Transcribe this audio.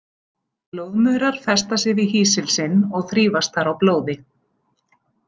Blóðmaurar festa sig við hýsil sinn og þrífast þar á blóði.